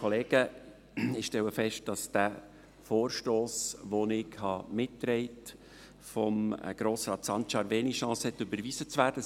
Ich stelle fest, dass dieser Vorstoss von Grossrat Sancar, welchen ich mittrage, kaum Chancen hat, überwiesen zu werden.